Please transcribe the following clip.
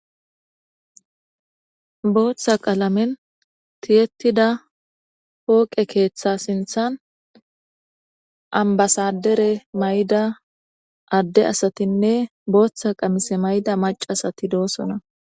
Booththa qalamen thiyeththida pooqe keeththaa sinththan ambbasaddere mayida adde asathinne booththa qamise mayida maccasathi doosona.